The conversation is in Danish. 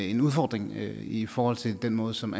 en udfordring i i forhold til den måde som